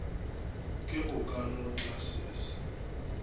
ke go ka no tlasese